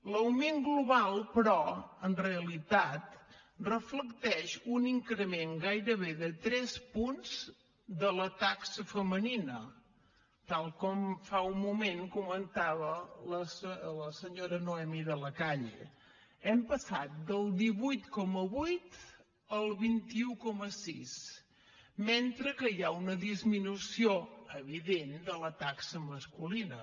l’augment global però en realitat reflecteix un increment gairebé de tres punts de la taxa femenina tal com fa un moment comentava la senyora noemí de la calle hem passat del divuit coma vuit al vint un coma sis mentre que hi ha una disminució evident de la taxa masculina